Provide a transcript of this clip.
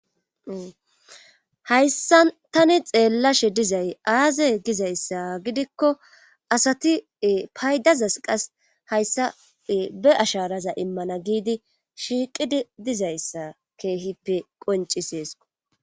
hayssa tani xeellashe dizay aazey gizayssa gidikko asati paydazas qas hayssa be asharaza immana giidi shiiqidi dizayssa keehippe qonciseeso